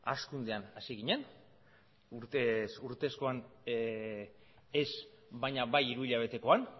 hazkundean hasi ginen urtez urtekoan ez baina bai hiruhilabetekoan